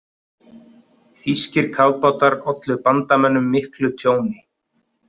Þýskir kafbátar ollu bandamönnum miklu tjóni.